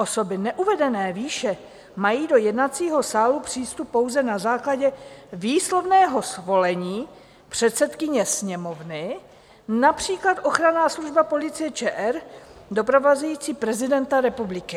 Osoby neuvedené výše mají do jednacího sálu přístup pouze na základě výslovného svolení předsedkyně Sněmovny, například ochranná služba Policie ČR doprovázející prezidenta republiky.